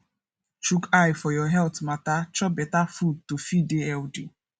chook eye for your health matter chop better food to fit dey healthy